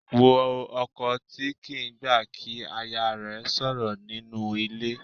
Wo ọkọ tí kì í gbà kí aya rẹ̀ sọ̀rọ̀ nínú ilé.